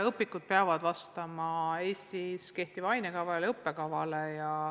Õpikud peavad vastama Eestis kehtivale ainekavale ja õppekavale.